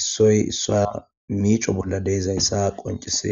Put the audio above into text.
issoy issa miico bolla deezayssa qoncisees.